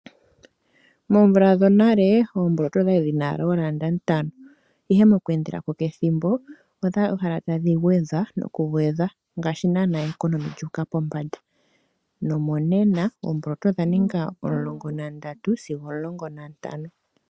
Moomvula dhonale oomboloto odhali dhi na owala oolanda ntano, ihe mo ku endela pamwe nethimbo ota dhi uhala tadhi gwedhwa nokugwedhwa, ngaashi naana o ekonomi ya uka pombanda nomonena oomboloto odha ninga omulongo nandatu sigo omulongo na ntano.